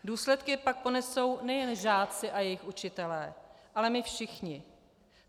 Důsledky pak ponesou nejen žáci a jejich učitelé, ale my všichni.